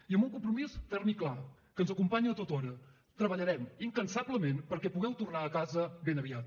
i amb un compromís ferm i clar que ens acompanya tothora treballarem incansablement perquè pugueu tornar a casa ben aviat